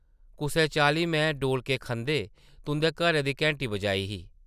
कुसै चाल्ली में डोलके खंदे तुंʼदे घरै दी घैंटी बजाई ही ।